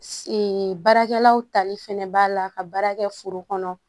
baarakɛlaw tali fɛnɛ b'a la ka baara kɛ foro kɔnɔ